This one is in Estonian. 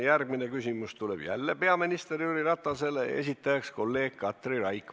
Järgmine küsimus tuleb jälle peaminister Jüri Ratasele, selle esitab kolleeg Katri Raik.